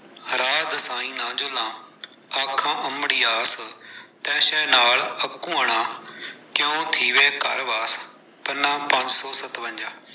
ਰਾਹੁ ਦਸਾਈ ਨ ਜੁਲਾਂ ਆਖਾਂ ਅੰਮੜੀਆਸੁ, ਤੈ ਸਹ ਨਾਲਿ ਅਕੂਅਣਾ ਕਿਉ ਥੀਵੈ ਘਰ ਵਾਸੁ ਪੰਨਾ-ਪੰਜ ਸੌ ਸਤਵੰਜਾ।